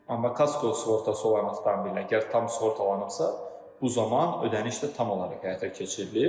Amma kasko sığortası olan avtomobildə əgər tam sığortalanıbsa, bu zaman ödəniş də tam olaraq həyata keçirilir.